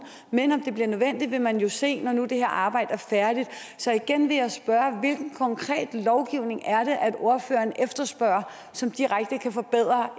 men om det bliver nødvendigt vil man jo se når nu det her arbejde er færdigt så igen vil jeg spørge hvilken konkret lovgivning er det at ordføreren efterspørger som direkte kan forbedre